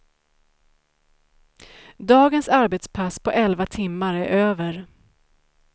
Dagens arbetspass på elva timmar är över.